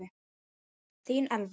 Þín, Elva.